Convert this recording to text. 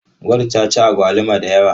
Gold ta ci agwaluma da yawa.